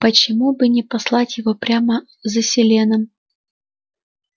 почему бы не послать его прямо за селеном